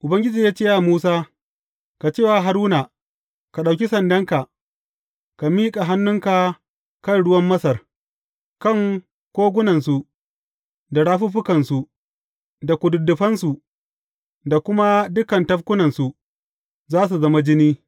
Ubangiji ya ce wa Musa, Ka ce wa Haruna, Ka ɗauki sandanka, ka miƙa hannunka kan ruwan Masar, kan kogunansu da rafuffukansu da kududdufansu da kuma dukan tafkunansu, za su zama jini.’